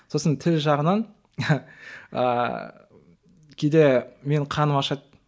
сосын тіл жағынан ыыы кейде менің қарным ашады